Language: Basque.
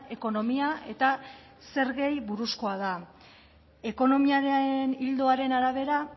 ekonomia eta zergei buruzkoa da ekonomiaren ildoaren arabera